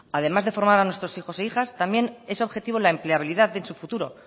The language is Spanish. además de formar a nuestros hijos e hijas también es objetivo la empleabilidad en su futuro